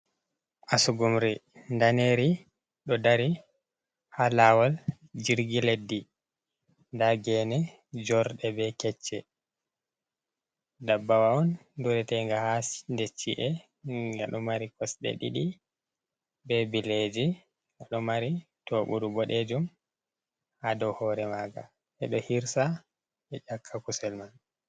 Asugumri ndaneri ɗo dari ha lawol jirgi leddi, nda gene jorɗe be kecce, ndabbawa on duretega ha ɗechi’e ngaɗo mari kosɗe ɗiɗi be bileji ɗo mari to ɓuru boɗejum, ha dow hore maga e ɗo hirsa be ƴakka kusel man.